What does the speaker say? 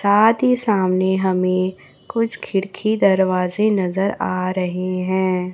साथी सामने हमें कुछ खिड़की दरवाजे नजर आ रहे है।